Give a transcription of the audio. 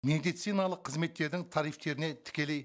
медициналық қызметтердің тарифтеріне тікелей